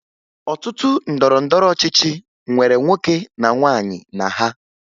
Ọtụtụ otu ndọrọndọrọ ọchịchị nwere nwoke na nwaanyị na ha